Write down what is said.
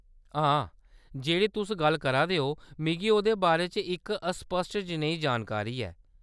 हां, जेह्‌ड़ी तुस गल्ल करा दे ओ मिगी ओह्‌दे बारे च इक अस्पश्ट जनेही जानकारी ऐ।